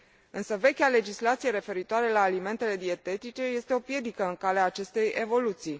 Însă vechea legislație referitoare la alimentele dietetice este o piedică în calea acestei evoluții.